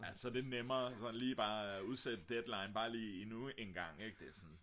ja så er det nemmere bare at udsætte deadline endnu en gang ikk det er sådan